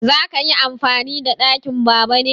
Za ka yi amfani da ɗakin Baba ne?